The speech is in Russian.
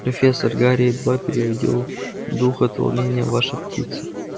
профессор гарри едва переводил дух от волнения ваша птица